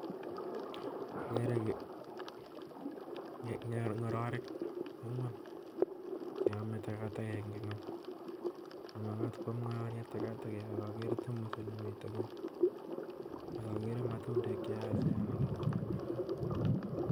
Agere en yu ng'ororik angwan cheome takataka en ngwony. Mamakat kwam ng'ororiet takatakek, ak akere tamosit nemiten ng'wony ak akere matundek cheyachen